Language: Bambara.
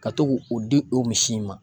Ka to k'o o di o misi in ma.